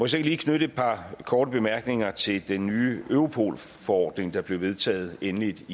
så ikke lige knytte et par korte bemærkninger til den nye europol forordning der blev vedtaget endeligt